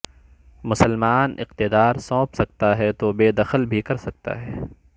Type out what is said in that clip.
مسلمان اقتدار سونپ سکتا ہے تو بےدخل بھی کر سکتا ہے